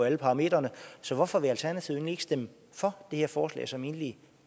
alle parametre så hvorfor vil alternativet ikke stemme for det her forslag som egentlig